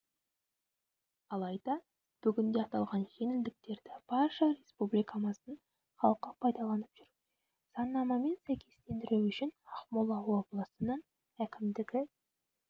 алайда бүгінде аталған жеңілдіктерді барша республикамыздың халқы пайдаланып жүр заңнамамен сәйкестендіру үшін ақмола облысының әкімдігі